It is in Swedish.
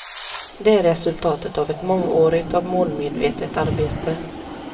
Det är resultatet av ett mångårigt och målmedvetet arbete.